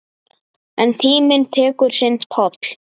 En tíminn tekur sinn toll.